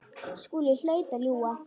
Skúli hlaut að ljúga.